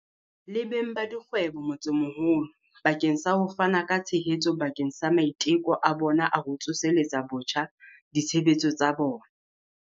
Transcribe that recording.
le beng ba dikgwebo motsemoholo bakeng sa ho fana ka tshehetso bakeng sa maiteko a bona a ho tsoseletsa botjha ditshebetso tsa bona.